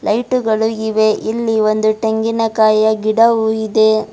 Light ಗಳು ಇವೆ ಇಲ್ಲಿ ಒಂದು ಟೆಂಗಿನಕಾಯಿಯ ಗಿಡವು ಇದೆ.